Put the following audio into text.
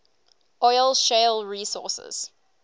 oil shale resources